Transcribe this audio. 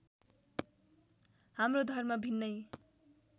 हाम्रो धर्म भिन्नै